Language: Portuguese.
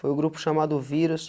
Foi o grupo chamado Vírus.